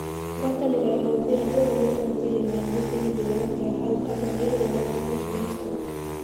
Guataniro ya mũbira bũrũrĩ wa Nigeria niyanjitie githurano kia hau gabere igũrũ ria Salisu Yusuf.